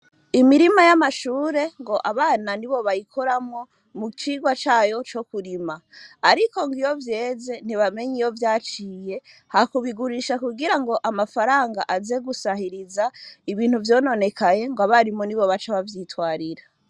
Imirima yama shure ngo abana nibo bayikoramwo mu cigwa cayo co kurima, ariko iyo vyeze ntibamenya iyo vyaciye, ha kubigurisha kugira ngo amafaranga aze gusahiriza ibintu vyononekaye ngo abarimu nibo baca bavyitwarira.